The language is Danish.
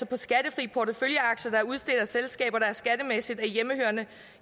på skattefri porteføljeaktier der er udstedt af selskaber der skattemæssigt er hjemmehørende